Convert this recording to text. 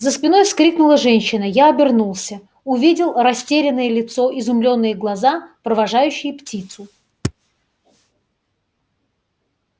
за спиной вскрикнула женщина я обернулся увидел растерянное лицо изумлённые глаза провожающие птицу